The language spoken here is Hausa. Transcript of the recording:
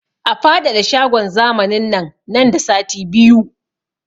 A faɗaɗa shagon zamanin nan nan da sati biyu!